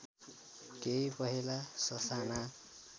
केही पहेँला ससाना